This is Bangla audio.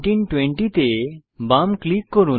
1920 তে বাম ক্লিক করুন